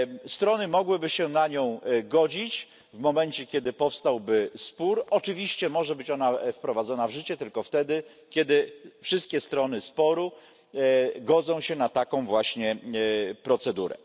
Strony mogłyby się na nią godzić w momencie, kiedy powstałby spór, oczywiście może być ona wprowadzona w życie tylko wtedy, kiedy wszystkie strony sporu godzą się na taką właśnie procedurę.